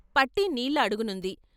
పట్టీ నీళ్ళ అడుగునుంది.